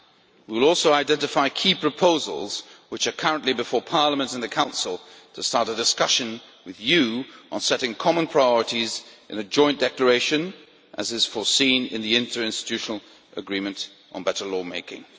We will also identify key proposals which are currently before Parliament and the Council to start a discussion with you on setting common priorities in a joint declaration, as is provided for in the interinstitutional agreement on better lawmaking.